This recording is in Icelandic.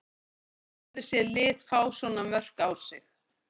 Ég hef aldrei séð lið fá svona mörk á sig.